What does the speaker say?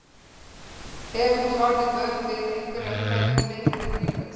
Hefur hún orðið vör við einhverja umræðu um leikinn í kringum sig?